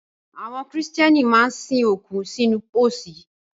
Àwọn Kìrìtẹ́nì máa ń sin òkú sínú pósí